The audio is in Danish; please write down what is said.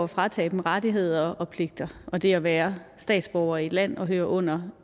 fratage dem rettigheder og pligter og det at være statsborger i et land og høre under